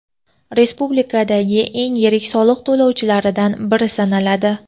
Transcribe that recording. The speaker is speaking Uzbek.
respublikadagi eng yirik soliq to‘lovchilaridan biri sanaladi.